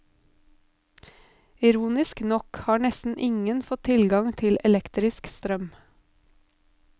Ironisk nok har nesten ingen fått tilgang til elektrisk strøm.